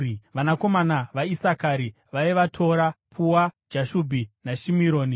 Vanakomana vaIsakari vaiva: Tora, Pua, Jashubhi naShimironi.